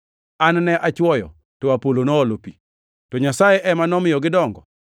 An ne achwoyo, to Apolo noolo pi, to Nyasaye ema nomiyo gidongo.